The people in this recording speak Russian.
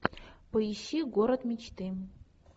поищи город мечты